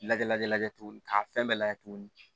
Lajɛ lajɛ tuguni k'a fɛn bɛɛ lajɛ tuguni